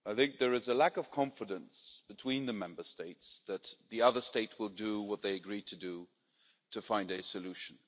There is a lack of confidence between the Member States that the other state will do what they agreed to do to find a solution.